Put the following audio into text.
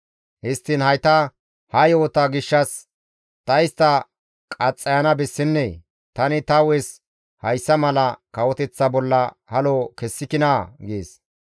Histtiin hayta ha yo7ota gishshas ta istta qaxxayana bessennee? Tani ta hu7es hayssa mala kawoteththa bolla halo kessikinaa?» gees.